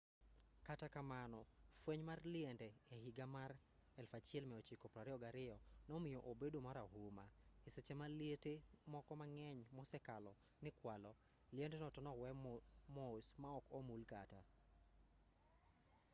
kata kamano fweny mar liende e higa mar 1922 nomiyo obedo marahuma e seche ma liete moko mang'eny mosekalo nikwalo liendno to nowe mos maok omul kata